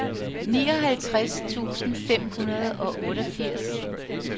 nioghalvtreds tusind fem hundrede og otteogfirs